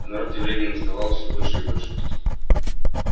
а народ тем временем уставал все больше и больше